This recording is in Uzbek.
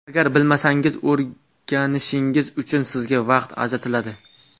Agar bilmasangiz, o‘rganishingiz uchun sizga vaqt ajratiladi.